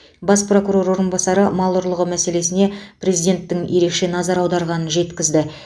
бас прокурор орынбасары мал ұрлығы мәселесіне президенттің ерекше назар аударғанын жеткізді